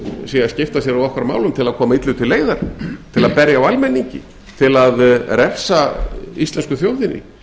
sé að skipta sér af okkar málum til að koma illu til leiðar til að berja á almenningi til að refsa íslensku þjóðinni